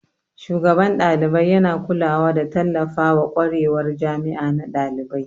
Shugaban dalibai yana kulawa da tallafawa kwarewar jami'a na dalibai.